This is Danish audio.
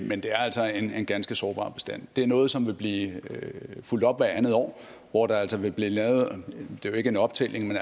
men det er altså en ganske sårbar bestand det er noget som vil blive fulgt op hvert andet år hvor der altså vil blive lavet ikke en optælling men